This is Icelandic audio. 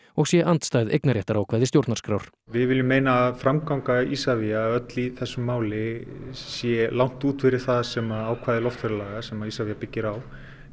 og sé andstæð eignarréttarákvæði stjórnarskrár við viljum meina að framganga Isavia öll í þessu máli sé langt út fyrir það sem ákvæði loftferðalaga sem Isavia byggir á